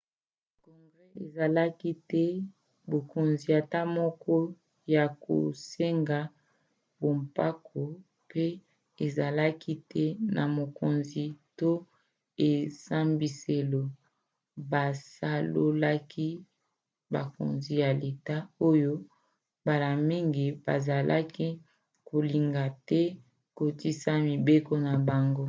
congrès ezalaki te na bokonzi ata moko ya kosenga bampako mpo ezalaki te na mokonzi to esambiselo basololaki na bakonzi ya leta oyo mbala mingi bazalaki kolinga te kotosisa mibeko na bango